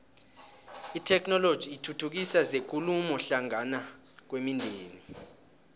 itheknoloji ithuthukisa zekulumo hlangana kwemindeni